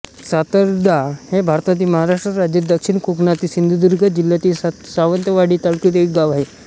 सातर्डा हे भारतातील महाराष्ट्र राज्यातील दक्षिण कोकणातील सिंधुदुर्ग जिल्ह्यातील सावंतवाडी तालुक्यातील एक गाव आहे